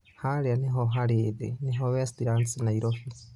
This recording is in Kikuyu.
harĩa nĩho harĩ thĩ nĩho westlands Nairobi